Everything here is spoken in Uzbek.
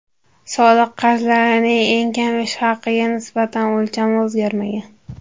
Soliq qarzlarining eng kam ish haqiga nisbatan o‘lchami o‘zgarmagan.